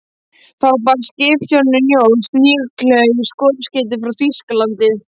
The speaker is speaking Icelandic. Þá barst skipstjóranum njósn, líklega í loftskeyti frá Þýskalandi.